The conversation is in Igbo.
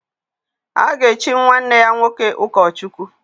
A ga-echi nwanne ya nwoke ụkọchukwu.